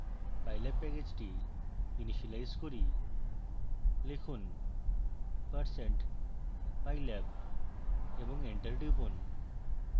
pylab প্যাকেজটি initialise করি